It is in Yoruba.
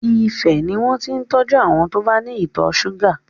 Ifẹ̀ ni wọn ti ń tọ́jú àwọn tí ó bá ní ìtọ̀ ṣúgà.